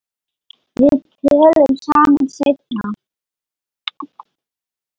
Við tölum saman seinna.